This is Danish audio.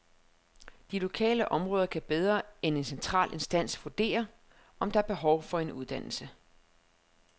De lokale områder kan bedre end en central instans vurdere, om der er behov for en uddannelse.